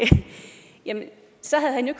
jamen så havde han jo